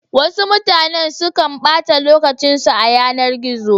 Wasu mutane sukan ɓata lokacin su a yanar gizo.